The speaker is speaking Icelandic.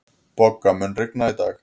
Bogga, mun rigna í dag?